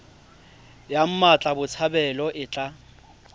ya mmatla botshabelo e tla